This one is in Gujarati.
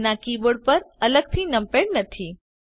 જેના કીબોર્ડ પર અલગથી નમપેડ નથી